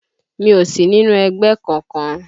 Mi ò sí nínú ẹgbẹ́ kọkan